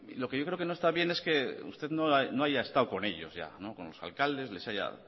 lo que yo creo que no está bien es que usted no haya estado con ellos ya con los alcaldes les haya